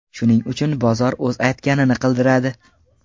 Shuning uchun bozor o‘z aytganini qildiradi.